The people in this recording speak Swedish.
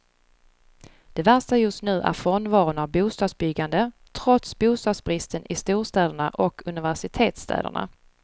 Det värsta just nu är frånvaron av bostadsbyggande, trots bostadsbristen i storstäderna och universitetsstäderna.